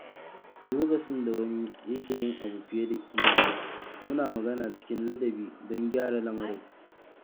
Lokacin da wani ya ke yin abu fiye da kima, muna magana cikin ladabi don gyara lamarin.